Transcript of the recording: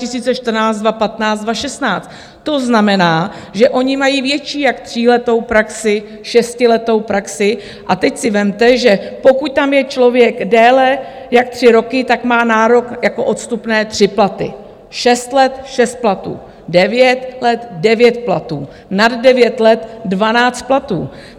To znamená, že oni mají větší jak tříletou praxi, šestiletou praxi, a teď si vezměte, že pokud tam je člověk déle jak tři roky, tak má nárok jako odstupné tři platy, šest let šest platů, devět let devět platů, nad devět let dvanáct platů.